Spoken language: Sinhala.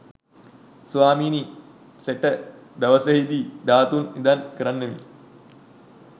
ස්වාමීනි සෙට දවසෙහි දී ධාතු නිධන් කරන්නෙමි.